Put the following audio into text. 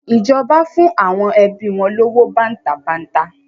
Ìjọba fún àwọn ẹbi wọn lówó bàǹtàbanta.